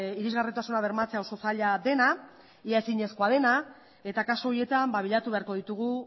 irisgarritasuna bermatzea oso zaila dena ia ezinezkoa dena eta kasu horietan bilatu beharko ditugu